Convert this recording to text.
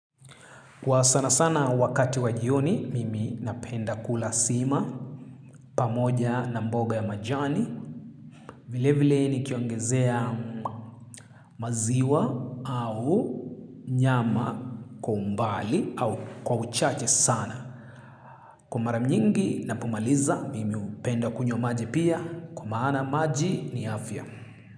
Kwa sanasana wakati wa jioni, mimi napenda kula sima pamoja na mboga ya majani. Vile vile nikiongezea maziwa au nyama kwa umbali au kwa uchache sana. Kwa mara nyingi napomaliza, mimi hupenda kunywa maji pia. Kwa maana maji ni afya.